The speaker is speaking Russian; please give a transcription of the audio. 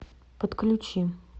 подключи